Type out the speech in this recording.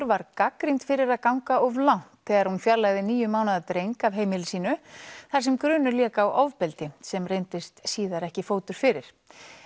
var gagnrýnd fyrir að ganga of langt þegar hún fjarlægði níu mánaða dreng af heimili sínu þar sem grunur lék á ofbeldi sem reyndist síðar ekki fótur fyrir